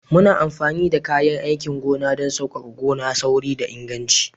Muna amfani da kayan aikin gona don sauƙaƙa gona, sauri da inganci